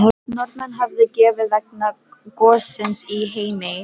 Norðmenn höfðu gefið vegna gossins í Heimaey.